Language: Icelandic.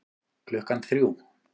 Klukkan þrjú